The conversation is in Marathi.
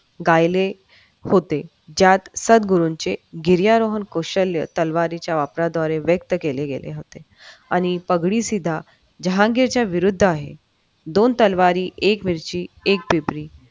गायले होते. ज्यात सद्गुरूंचे गिरीरा रोहन कौशल्य तलवारी वापराद्वारे व्यक्त केले गेले होते आणि पगडी सुद्धा धांग्यांच्या विरुद्ध आहे दोन तलवारी दोन तलवारी एक मिरची एक पिपरी